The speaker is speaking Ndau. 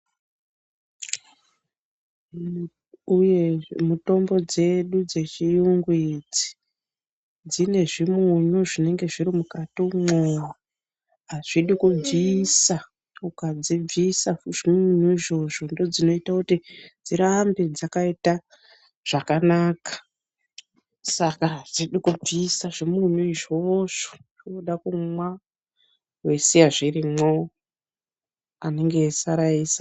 Uye mutombo dzedu dzechiyungu idzi dzine zvimunyu zvinenge zviri mukati umwoo. Azvidi kubvisa, ukadzibvisa zvimunyu izvozvo ndoodzinoita kuti dzirambe dzakaita zvakanaka. Saka adzidi kubvisa zvimunyu izvozvo, wooda kumwa weisiya zvirimwo anenge eisara eisa.